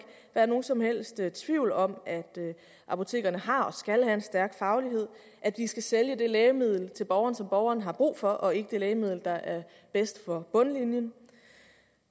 være nogen som helst tvivl om at apotekerne har og skal have en stærk faglighed at de skal sælge det lægemiddel til borgeren som borgeren har brug for og ikke det lægemiddel der er bedst for bundlinjen